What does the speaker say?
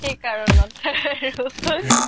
কি কাৰনত